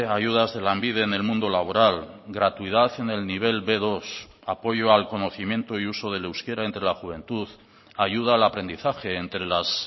ayudas de lanbide en el mundo laboral gratuidad en el nivel be dos apoyo al conocimiento y uso del euskera entre la juventud ayuda al aprendizaje entre las